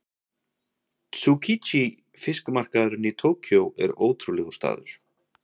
Tsukiji fiskmarkaðurinn í Tókýó er ótrúlegur staður.